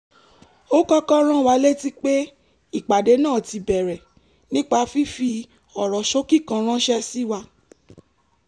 ó kọ́kọ́ rán wa létí pé ìpàdé náà ti bẹ̀rẹ̀ nípa fífi ọ̀rọ̀ ṣókí kan ránṣẹ́ sí wa